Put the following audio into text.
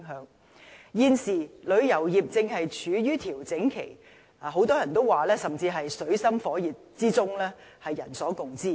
人所共知，現時旅遊業正處於調整期，很多人甚至說是在水深火熱之中。